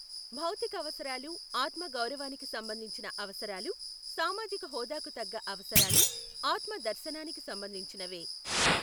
భౌతికావసరాలు, ఆత్మ గౌరవానికి సంబంధించిన అవసరాలు, సామాజిక హోదాకు తగ్గ అవసరాలు, ఆత్మదర్శనానికి సంబంధించినవే !